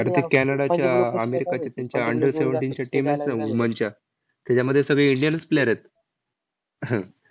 अरे ते कॅनडाच्या अमेरिकेच्या तेंच्या under seventeen च्या team आहेत ना woman च्या, त्याच्यामध्ये सगळे indian च player आहेत. आह